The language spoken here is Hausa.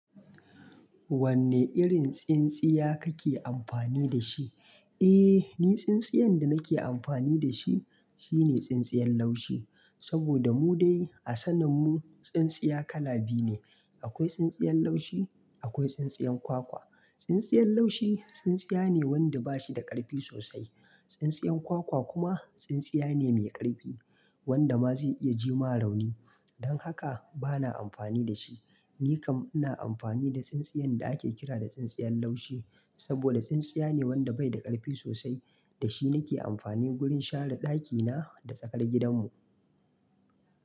Wanne irin tsintsiya kake amfani da shi? Eh, ni tsintsiyan da nake amfani da shi, shine tsintsiyan laushi. Saboda mu dai, a sanen mu, tsintsiya kala biyu ne. Akwai tsintsiyan laushi, akwai tsintsiyan kwakwa. Tsintsiyan laushi, tsintsiya ne wanda bashi da ƙarfi sosai. Tsintsiyan kwakwa kuma, tsintsiya ne mai ƙarfi, wanda ma zai iya jima rauni. Don haka, bana amfani da shi. Ni kam ina amfani da tsintsiyan da ake kira da tsintsiyan laushi. Saboda tsintsiya ne wanda bai da ƙarfi sosai, da shi nake amfani wurin share ɗakina da tsakar gidanmu.